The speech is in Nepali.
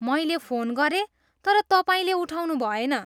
मैले फोन गरेँ, तर तपाईँले उठाउनुभएन।